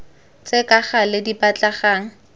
tse ka gale di batlegang